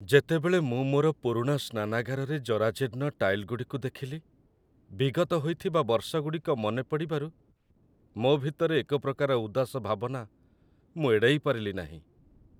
ଯେତେବେଳେ ମୁଁ ମୋର ପୁରୁଣା ସ୍ନାନାଗାରରେ ଜରାଜୀର୍ଣ୍ଣ ଟାଇଲଗୁଡ଼ିକୁ ଦେଖିଲି, ବିଗତ ହୋଇଥିବା ବର୍ଷଗୁଡ଼ିକ ମନେ ପଡ଼ିବାରୁ, ମୋ ଭିତରେ ଏକ ପ୍ରକାର ଉଦାସ ଭାବନା ମୁଁ ଏଡ଼ାଇ ପାରିଲି ନାହିଁ।